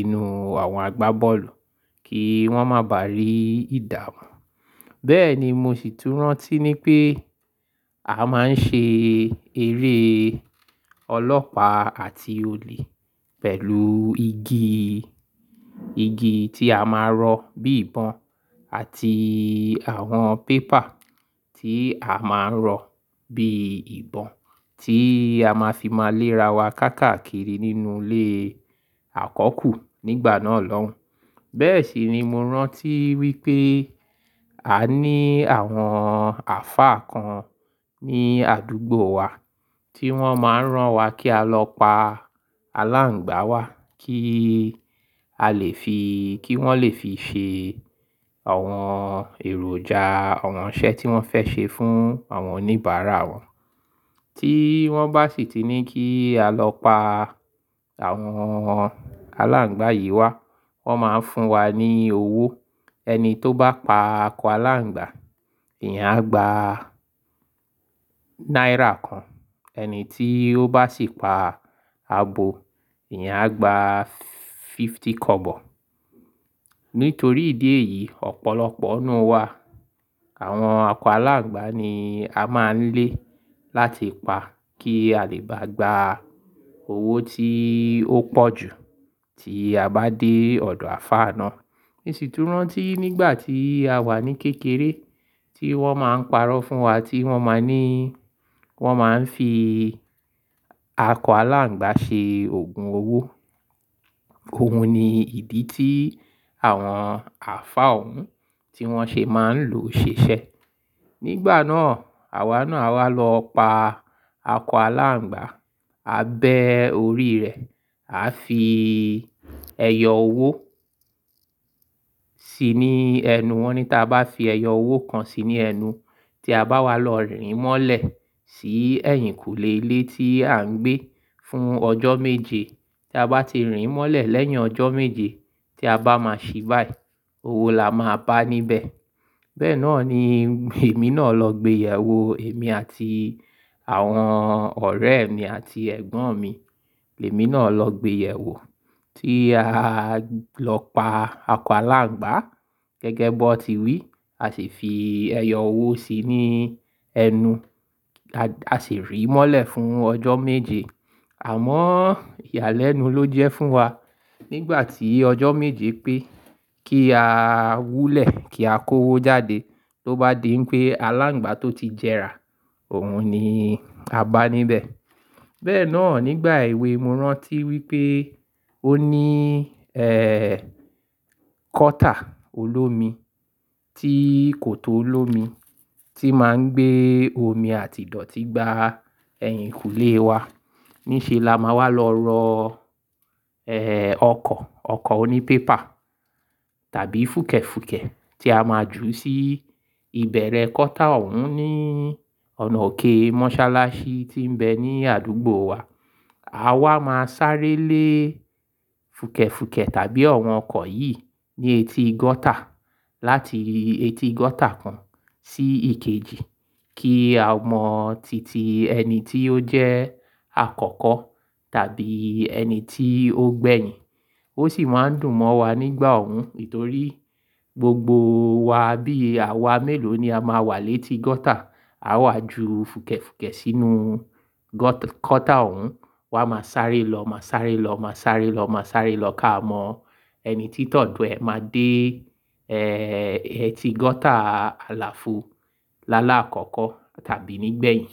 inú àwọn agbá bọ́ọ̀lù kí wọ́n má bà rí ìdààmú. Bẹ́ẹ̀ ni mo sì tún rántí ní pé a máa ń ṣe eré ọlọ́pàá àti olè pẹ̀lú igi, igi tí a máa ń rọ bí ìbọn àti àwọn pépà tí a máa ń rọ bí ìbọn tí a máa fi máa léra wa káàkiri nínú ilé àkọ́kù nígbà náà lọ́hun. Bẹ́ẹ̀ sì ni mo rántí wí pé a ní àwọn àfáà kan ní àdúgbò wa tí wọ́n máa ń rán wa kí a lọ pa aláǹgbá wa kí a lè fi, kí wọ́n lè fi ṣe àwọn èròjà, àwọn iṣẹ́ tí wọ́n fẹ́ ṣe fún àwọn oníbàárà wọn. Tí wọ́n bá sì ti ní kí a lọ pa àwọn aláǹgbá yìí wá, wọ́n máa ń fún wa ní owó. Ẹni tó bá pa akọ aláǹgbá, ìyená a gba náírà kan. Ẹni tí ó bá sì pa abo, ìyen a gba fifty kobo. Nítorí ìdí èyí, ọ̀pọ̀lọpọ̀ nínú wa àwọn akọ aláǹgbá ni a máa ń lé láti pa kí a lè bá gba owó tí ó pọ̀ jù tí a bá dé ọ̀dọ̀ àfáà náà. Mo sì tún rántí nígbà tí a wà ní kékeré tí wọ́n máa ń parọ́ fún wa tí wọ́n máa ń ní, wọ́n máa ń fi akọ aláǹgbá ṣe òògùn owó. Òun ni ìdí tí àwọn àlfáà òun tí wọ́n ṣe máa ń lò ṣèṣe. Nígbà náà, àwa náà a wá lọ pa akọ aláǹgbá, a bẹ́ orí rẹ̀, a fi ẹyọ owó si ní ẹnu wọn. Ní táa bá fi ẹyọ owó kan sí ní ẹnu tí a bá wá lọ rìn mọ́lẹ̀ sí ẹ̀yìnkùlé ilé tí à ń gbé fún ọjọ́ méje. Tí a bá ti rìn mọ́lẹ̀ lẹ́yìn ọjọ́ méje tí a bá máa ṣe báyìí, owó la máa pá níbẹ̀. Bẹ́ẹ̀ náà ni èmi náà lọ gbé ẹyọ owó, èmi àti àwọn ọ̀rẹ́ mi àti ẹ̀gbọ́n mi. Èmi náà lọ gbé ẹyọ owó tí a lọ pa akọ aláǹgbá gẹ́gẹ́ bó ti wí, a sì fi ẹyọ owó si ní ẹnu. A sì rì mọ́lẹ̀ fún ọjọ́ méje. Àmọ́ ìyálẹ́nu ló jẹ́ fún wa nígbà tí ọjọ́ méje pé kí a wúlẹ̀ kí a kó owó jáde tó bá dé pé aláǹgbá tó ti jẹrà, òun ni a báá níbẹ̀. Bẹ́ẹ̀ náà nígbà èwe mi mo rántí wí pé ó ní, eeh, gọ́tà olómi tí kò tó olómi tí máa ń gbé omi àti ìdọ̀tí gbá ẹ̀yìnkùlé wa. Níṣe la máa wá lọ rọ, eeh, ọkọ̀, ọkọ̀ oní pépà tàbí fùkẹ̀fùkẹ̀ tí a máa jù sí ìbẹ̀rẹ̀ kọ́tà òun ní ọ̀nà òkè mọ́sálásí tí ń bẹ ní àdúgbò wa. A wa máa sáré lé fùkẹ̀fùkẹ̀ tàbí àwọn ọkọ̀ yìí ní etí gọ́tà láti etí gọ́tà kan sí ìkejì kí a mọ titi ẹni tí ó jẹ́ àkọ́kọ́ tàbí ẹni tí ó gbẹ̀yìn. Ó sì máa ń dùn mọ́ wa nígbà òun nítorí gbogbo wa bí àwa mélòó ni a máa wà létí gọ́tà. A wà ju fùkẹ̀fùkẹ̀ sínú gọ́tà òun, wa máa sáré lọ, máa sáré lọ, máa sáré lọ, máa sáré lọ ká mọ ẹni tí tọ̀dọ̀ ẹ máa dé, eeh, etí gọ́tà àlàáfù láàlá àkọ́kọ́ tàbí nígbẹ̀yìn.